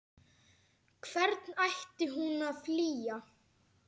Hvern ætti hún að flýja?